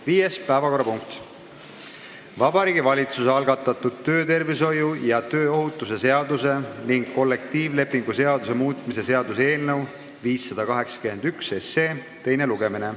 Viies päevakorrapunkt on Vabariigi Valitsuse algatatud töötervishoiu ja tööohutuse seaduse ning kollektiivlepingu seaduse muutmise seaduse eelnõu 581 teine lugemine.